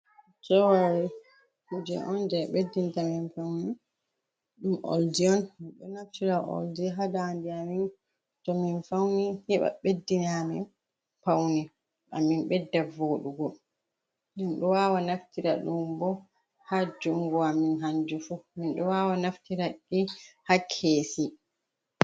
Joweri kuje on je ɓeddinta amin paune, ɗum oldi on minɗo naftira oldi ha dande amin towmin fauni heɓa beddina amin paune amin bedda vodugo, minɗo wawa naftira dum bo ha jungo amin hanji fu min do wawa naftiradi ha kesi.